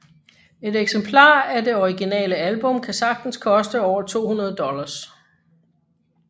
Et eksemplar af det originale album kan sagtens koste over 200 dollars